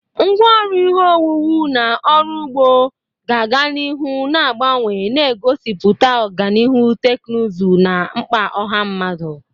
Ngwá ọrụ ihe owuwu na ọrụ ugbo ga-aga n'ihu na-agbanwe, na-egosipụta ọganihu teknụzụ na mkpa ọha mmadụ.